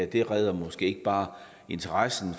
det redder måske ikke bare interessen